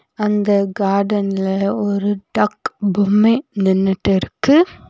அந்த கார்டன்ல ஒரு டக் பொம்மே நின்னுட்டுருக்கு.